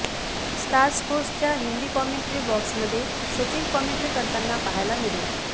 star स्पोर्ट्सच्या Hindi commentary बॉक्समध्ये Sachin commentary करताना पहायला मिळेल